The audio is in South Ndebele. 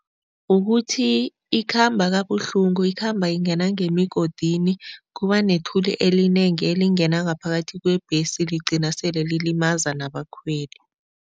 Kukuthi ikhamba kabuhlungu, ikhamba ingena ngemigodini, kuba nethuli elinengi elingena ngaphakathi kwebhesi, ligcine sele lilimaza nabakhweli.